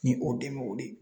Ni o dɛmɛnw de